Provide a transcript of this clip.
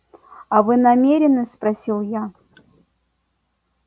а вы намерены спросил я